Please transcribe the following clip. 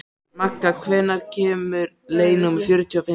Magga, hvenær kemur leið númer fjörutíu og fimm?